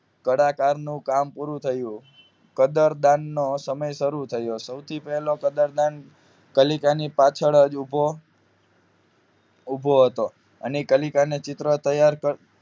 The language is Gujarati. કલાકારનો કામ પૂરું થયું કદર દાન નો સમય શરૂ થયો સૌથી પેલો કદરદાન કલીકા ની પાછળ જ ઉભો ઉભો હતો અને કલીકા ચિત્ર તૈયાર કર